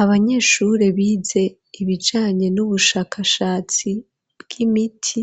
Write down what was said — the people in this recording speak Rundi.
Abanyeshure bize ibijanye n'ubushakashatsi bw'imiti